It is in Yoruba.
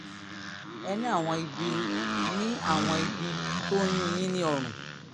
ẹ ní àwọn ibi ní àwọn ibi tó ń yún un yín ní ọrùn